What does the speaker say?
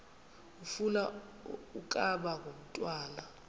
ufuna ukaba ngumntwana